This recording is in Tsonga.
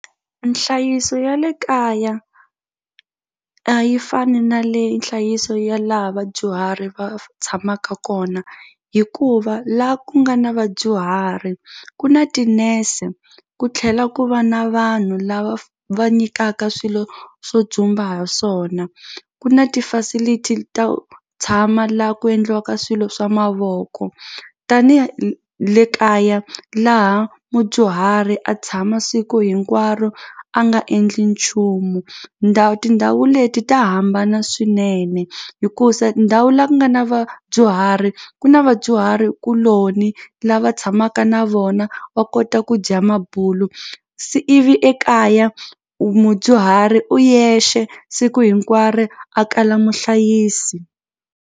Nhlayiso ya le kaya a yi fani na le nhlayiso ya laha vadyuhari va tshamaka kona hikuva la ku nga na vadyuhari ku na tinese ku tlhela ku va na vanhu lava va nyikaka swilo swo dzumba ha swona ku na ti-facility ta tshama la ku endliwaka swilo swa mavoko hi le kaya laha mudyuhari a tshama siku hinkwaro a nga endli nchumu ndhawu tindhawu leti ta hambana swinene hikusa ndhawu la ku nga na vadyuhari ku na vadyuhari kuloni lava tshamaka na vona va kota ku dya mabulu ivi ekaya u mudyuhari u yexe siku hinkwaro a kala muhlayisi.